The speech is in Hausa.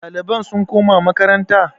ɗaliban sun koma makaranta?